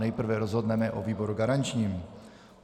Nejprve rozhodneme o výboru garančním.